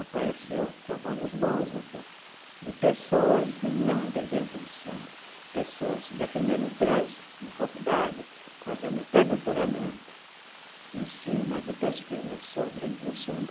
Apareceu trabalhos bons até, de pessoas não de dentro do samba, pessoas defendendo tese em faculdade, fazendo até doutoramento em cima de pesquisas sobre o samba.